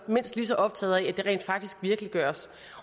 mindst lige så optaget af at det rent faktisk virkeliggøres